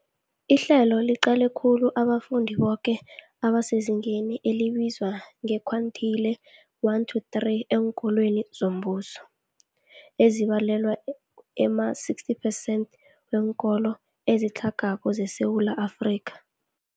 Ihlelo liqale khulu abafundi boke abasezingeni elibizwa nge-quintile 1-3 eenkolweni zombuso, ezibalelwa ema-60 percent weenkolo ezitlhagako zeSewula Afrika.